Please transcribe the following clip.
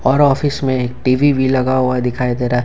और ऑफिस में एक टी_वी भी लगा हुआ दिखाई दे रहा है।